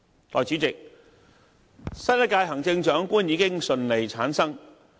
代理主席，新一屆行政長官已經順利產生。